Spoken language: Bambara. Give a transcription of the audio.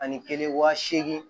Ani kelen waa seegin